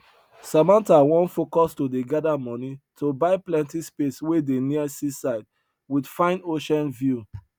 samantha wan focus to dey gather money to buy plenty space wey dey near seaside with fine ocean view